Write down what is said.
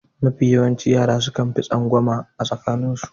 Mafi yawancin yara suka fi tsangwama a tsakanin su.